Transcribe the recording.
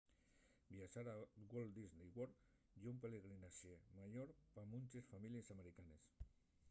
viaxar a walt disney world ye un pelegrinaxe mayor pa munches families americanes